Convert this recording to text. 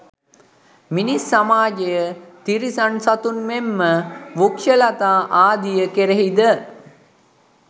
මිනිස් සමාජය, තිරිසන් සතුන් මෙන්ම වෘක්‍ෂලතා ආදිය කෙරෙහිද